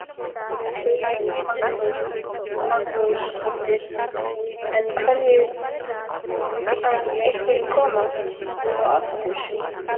Hugrún Halldórsdóttir: En einhverjir koma. þá aftur?